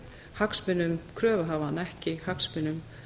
hagsmunum kröfuhafa en ekki hagsmunum